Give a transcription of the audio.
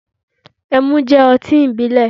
Ẹmu jẹ oti ibilẹ